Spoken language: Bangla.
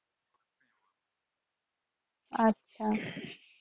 আচ্ছা।